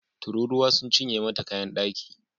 Tururuwa sun cinye mata kayan daki